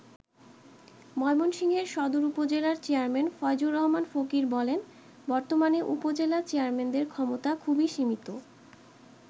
ময়মনসিংহের সদর উপজেলার চেয়ারম্যান ফয়জুর রহমান ফকির বলেন বর্তমানে উপজেলা চেয়ারম্যানদের ক্ষমতা খুবই সীমিত।